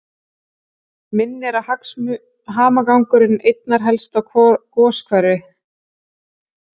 Minnir hamagangurinn einna helst á goshver